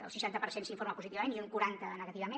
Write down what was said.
el seixanta per cent s’informa positivament i un quaranta negativament